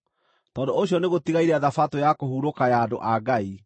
Tondũ ũcio nĩgũtigaire Thabatũ ya kũhurũka ya andũ a Ngai;